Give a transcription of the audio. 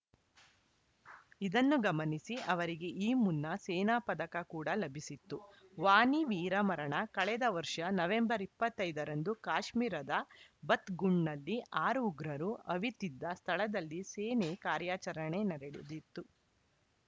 ಇದನ್ನು ಗಮನಿಸಿ ಅವರಿಗೆ ಈ ಮುನ್ನ ಸೇನಾ ಪದಕ ಕೂಡ ಲಭಿಸಿತ್ತು ವಾನಿ ವೀರಮರಣ ಕಳೆದ ವರ್ಷ ನವೆಂಬರ್ ಇಪ್ಪತ್ತ್ ಐದ ರಂದು ಕಾಶ್ಮೀರದ ಬತ್‌ಗುಂಡ್‌ನಲ್ಲಿ ಆರು ಉಗ್ರರು ಅವಿತಿದ್ದ ಸ್ಥಳದಲ್ಲಿ ಸೇನೆ ಕಾರ್ಯಾಚರಣೆ ನಡೆದಿತ್ತು